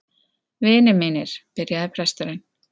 Vinir mínir, byrjaði presturinn.